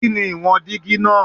Kini iwọn digi naa?